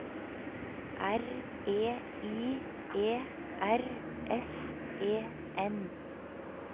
R E I E R S E N